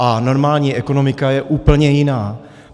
A normální ekonomika je úplně jiná.